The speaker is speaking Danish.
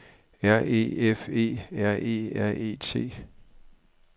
R E F E R E R E T